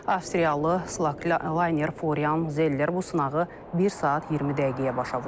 Avstriyalı Slakner, Foryan Zeller bu sınağı 1 saat 20 dəqiqəyə başa vurub.